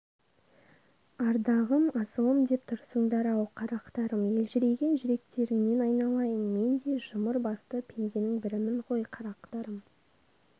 ардағым асылым деп тұрсыңдар-ау қарақтарым елжіреген жүректеріңнен айналайын мен де жұмыр басты пенденің бірімін ғой қарақтарым